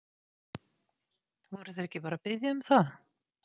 Voru þeir ekki bara að biðja um það?